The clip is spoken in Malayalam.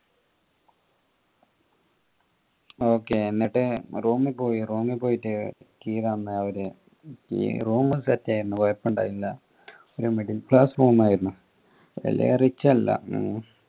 okay എന്നിട്ട് room പോയി room പോയിട്ട് key തന്ന് അവരെ key room set ഏനു കൊഴപ്പണ്ടായിരുന്നില്ല പിന്നെ middle class room ആയിരുന്നു വെല്യ rich അല്ല